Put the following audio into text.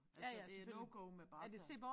Altså det er no-go med bare tæer